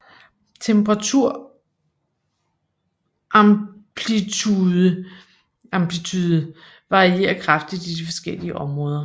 Temperaturamplitude varierer kraftigt i de forskellige områder